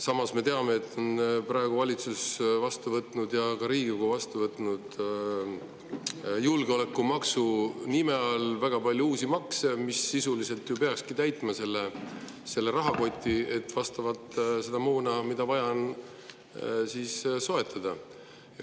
Samas me teame, et praegu on valitsus ja ka Riigikogu võtnud julgeolekumaksu nime all vastu väga palju uusi makse, mis sisuliselt ju peakski täitma rahakoti, et soetada moona, mida vaja on.